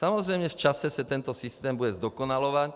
Samozřejmě v čase se tento systém bude zdokonalovat.